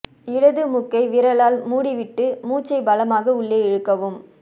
இ இடது மூக்கை விரலால் மூடிவிட்டு மூச்சை பலமாக உள்ளே இழுக்கவும்